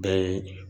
Bɛɛ ye